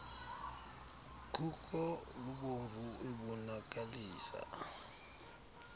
khuko lubomvu ebonakalisa